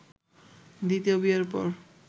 দ্বিতীয় বিয়ের পর